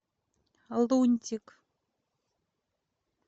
лунтик